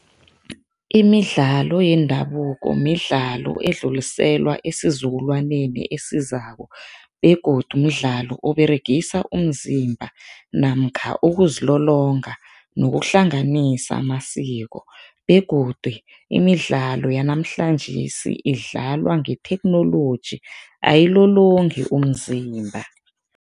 Imidlalo yendabuko midlalo edluliselwa esizukulwaneni esizako begodu mdlalo oberegisa umzimba namkha ukuzilolonga nokuhlanganisa amasiko begodu imidlalo yanamhlanjesi idlalwa ngetheknoloji, ayilolongi umzimba.